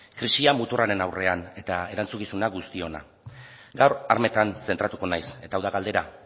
krisia muturraren aurrean eta erantzukizuna guztiona gaur armetan zentratuko naiz eta hau da galdera